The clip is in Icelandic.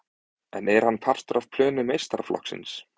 En er hann partur af plönum meistaraflokksins?